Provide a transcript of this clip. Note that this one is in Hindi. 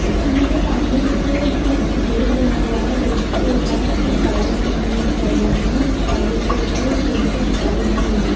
स्टूल के सामने कुछ गेट बना हुआ है। गेट के पास कुछ साड़ियां टंगी हुई दिखाई दे रही हैं। साड़ियों के ऊपर फूलों से सजावट की हुई है।